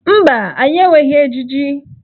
Mba, anyị enweghị ejiji.